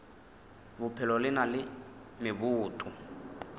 bophelo le na le meboto